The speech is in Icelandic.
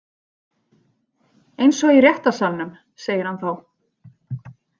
Eins og í réttarsalnum, segir hann þá.